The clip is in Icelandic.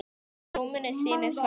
Í rúminu sínu, svara ég.